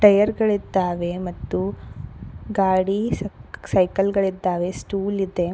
Tyre ಗಳಿದ್ದಾವೆ ಮತ್ತು ಗಾಡಿ ಸೈ ಸೈಕಲ್ ಗಳಿದ್ದಾವೆ ಸ್ಟೂಲ್ ಇದೆ.